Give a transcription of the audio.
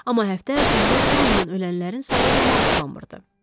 Amma həftə ərzində Tandandan ölənlərin sayı ilə maraqlanmırdı.